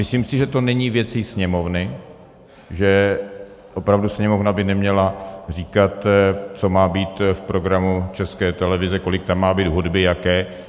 Myslím si, že to není věcí Sněmovny, že opravdu Sněmovna by neměla říkat, co má být v programu České televize, kolik tam má být hudby, jaké.